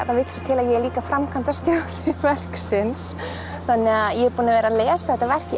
það vill svo til að ég er líka framkvæmdastjóri verksins þannig að ég er búin að vera að lesa þetta verk í